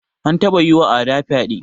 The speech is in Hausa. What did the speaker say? An taba yiwa Ada fyaɗe.